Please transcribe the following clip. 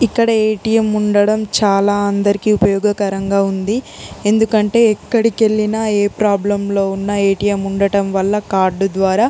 ఇక్కడ ఎటిఎం ఉండడం చాలా అందరికి ఉపయోగకరంగ ఉంది. ఎక్కడికి వెళ్లిన ఆ ప్రాబ్లెమ్ లో ఉన్న ఎటిఎం ఉన్న కార్డు ద్వార--